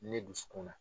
Ne dusukun na